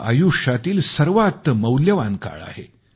हा आयुष्यातील सर्वात मौल्यवान काळ आहे